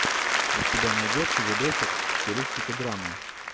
у тебя найдется видосик в стилистике драмы